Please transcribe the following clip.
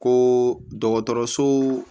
Ko dɔgɔtɔrɔso